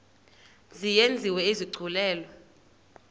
mzi yenziwe isigculelo